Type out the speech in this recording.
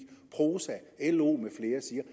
prosa lo med flere siger